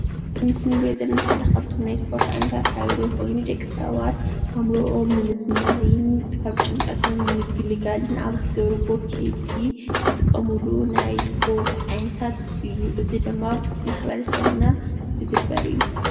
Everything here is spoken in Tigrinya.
ኣብዚ ምስሊ እንሪኦ ዘለና ሓደ ካብቶም ናይ እስፖርቲ ዓይነታት ሓደ ኮይኑ ደቂ ሰባት ኣእምርኦም ንምዝንናይን ካብ ጭንቀቶም ንምግልጋልን ኣብ ዝገብርዎ ከይዲ ዝጥቀምሉ ናይ እስፖርት ዓይነታት እዩ፡፡ እዚ ድማ ማሕበረሰብና ዝግበር እዩ፡፡